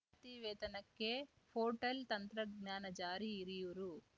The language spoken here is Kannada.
ತಿ ವೇತನಕ್ಕೆ ಪೋರ್ಟಲ್‌ ತಂತ್ರಾಂಶ ಜಾರಿ ಹಿರಿಯೂರು